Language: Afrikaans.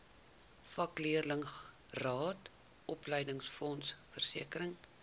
vakleerlingraad opleidingsfonds versekering